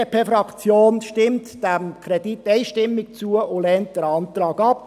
Die BDP-Fraktion stimmt diesem Kredit einstimmig zu und lehnt den Antrag ab.